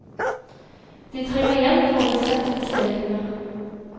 De trenger hjelp for å besette stillingene.